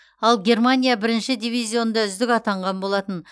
ал германия бірінші дивизионда үздік атанған болатын